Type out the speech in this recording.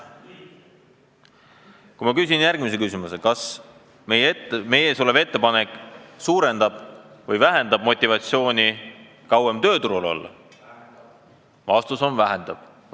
Kui ma küsin järgmise küsimuse, kas meie ees olev ettepanek suurendab või vähendab motivatsiooni kauem tööturul olla, siis ... vastus on: vähendab.